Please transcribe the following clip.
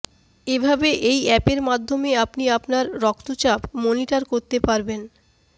এভাবে এই অ্যাপের মাধ্যমে আপনি আপনার রক্তচাপ মনিটার করতে পারবেন